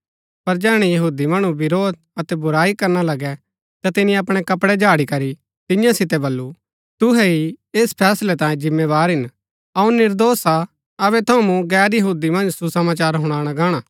पर जैहणै यहूदी मणु विरोध अतै बुराई करना लगै ता तिनी अपणै कपड़ै झाड़ी करी तियां सितै बल्लू तुहै ही ऐस फैसलै तांई जिम्मेदार हिन अऊँ निर्दोष हा अबै थऊँ मूँ गैर यहूदी मन्ज सुसमाचार हुणाणा गाणा